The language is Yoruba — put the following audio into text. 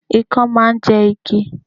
Ikán máà ń jẹ igi